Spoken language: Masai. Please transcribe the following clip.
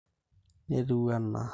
netiu anaa